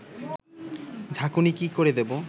ঝাঁকুনি কি করে দেবো